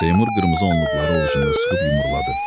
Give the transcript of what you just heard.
Seymur qırmızı onluqları ovucunda sıxıb yumruladı.